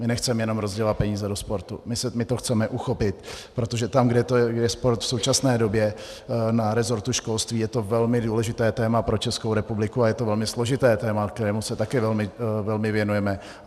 My nechceme jenom rozdělovat peníze do sportu, my to chceme uchopit, protože tam, kde je sport v současné době na rezortu školství, je to velmi důležité téma pro Českou republiku a je to velmi složité téma, kterému se také velmi věnujeme.